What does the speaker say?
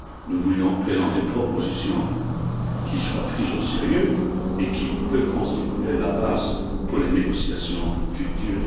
Nous voulions présenter une proposition qui soit prise au sérieux et qui puisse constituer une base pour les négociations futures.